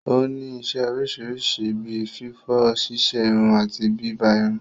Ó ní isẹ́ oríṣiríṣi bí fífọ̀, ṣíṣerun àti bíbá irun.